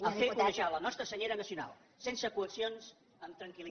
a fer onejar la nostra senyera nacional sense coaccions amb tranquil